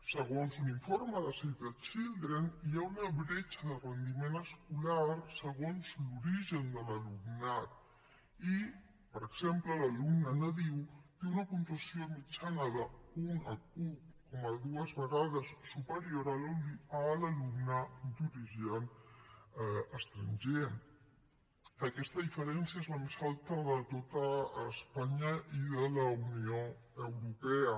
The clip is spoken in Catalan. segons un informe de save the children hi ha una bretxa de rendiment escolar segons l’origen de l’alumnat i per exemple l’alumne nadiu té una puntuació mitjana un coma dos vegades superior a l’alumne d’origen estranger aquesta diferència és la més alta de tot espanya i de la unió europea